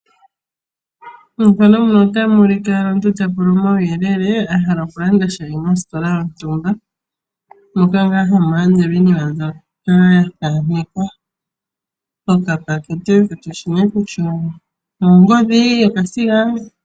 omuntu ta pula omauyelele a halal okulanda sha mositola yontumba mokati ngaa hamu landelwa iinima mbyoka ya thanekwa, kushi nee kutya oongodhi, omasiga